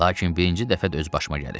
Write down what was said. "Lakin birinci dəfədir öz başıma gəlir."